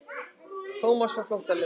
Thomas varð flóttalegur til augnanna.